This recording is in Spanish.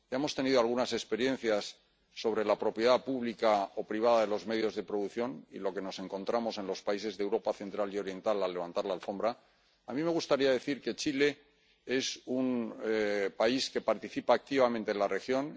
Ya hemos tenido algunas experiencias sobre la propiedad pública o privada de los medios de producción, y lo que nos encontramos en los países de Europa Central y Oriental al levantar la alfombra. A mí me gustaría decir que Chile es un país que participa activamente en la región